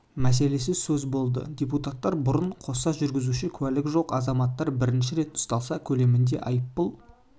мәселесі сөз болды депуттар бұрын қоса жүргізуші куәлігі жоқ азаматтар бірінші рет ұсталса көлемінде айыппұл